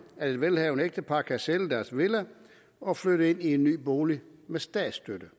at et velhavende ægtepar kan sælge deres villa og flytte ind i en ny bolig med statsstøtte